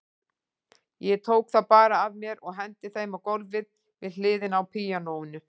Ég tók þá bara af mér og henti þeim á gólfið við hliðina á píanóinu.